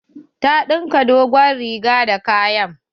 Ta ɗinka dogon riga da kayan.